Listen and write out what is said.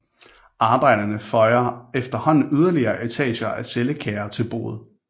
Arbejderne føjer efterhånden yderligere etager af cellekager til boet